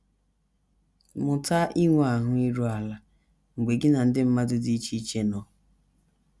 Mụta inwe ahụ́ iru ala mgbe gị na ụdị mmadụ dị iche iche nọ